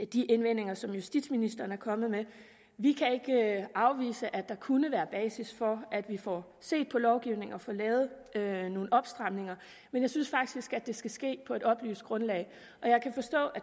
de indvendinger som justitsministeren er kommet med vi kan ikke afvise at der kunne være basis for at vi får set på lovgivningen og får lavet nogle opstramninger men jeg synes faktisk at det skal ske på et oplyst grundlag jeg kan forstå at